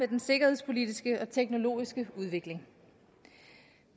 den sikkerhedspolitiske og teknologiske udvikling